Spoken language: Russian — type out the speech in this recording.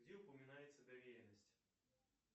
где упоминается доверенность